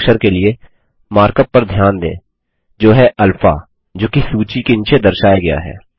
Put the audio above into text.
Greek अक्षर के लिए मार्क अप पर ध्यान दें जो है अल्फा जोकि सूची के नीचे दर्शाया गया है